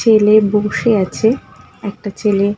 ঠেলে বসে আছে একটা ছেলে--